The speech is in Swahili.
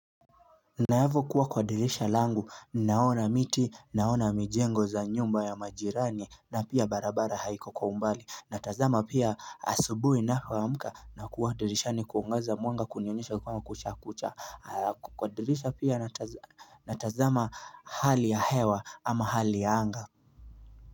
Na hapo kuwa kwa dirisha langu naona miti naona mijengo za nyumba ya majirani na pia barabara haiko kwa umbali natazama pia asubuhi navyoamka na kuwa dirishani kuangaza mwanga kunionyesha kuwa kushakucha kwa dirisha pia natazama hali ya hewa ama hali ya anga.